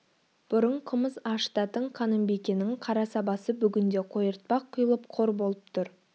бұрын қымыз ашытатын қанымбикенің қара сабасы бүгінде қойыртпақ құйылып қор болып тұр